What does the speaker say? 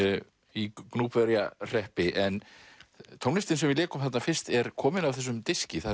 í Gnúpverjahreppi en tónlistin sem við lékum þarna fyrst er komin af þessum diski það